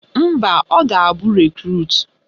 Mba, ọ ga-abụ Rekrut